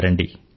రండి